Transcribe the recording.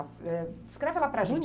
Descreve ela para a gente.